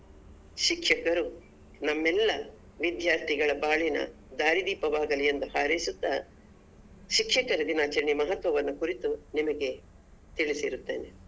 ಶಿಕ್ಷಕರು ನಮ್ಮೆಲ್ಲ ವಿದ್ಯಾರ್ಥಿಗಳ ಬಾಳಿನ ದಾರಿದೀಪವಾಗಲಿ ಎಂದು ಹಾರೈಸುತ್ತ ಶಿಕ್ಷಕರ ದಿನಾಚರಣೆಯ ಮಹತ್ವವನ್ನು ಕುರಿತು ನಿಮಗೆ ತಿಳಿಸಿರುತ್ತೇನೆ.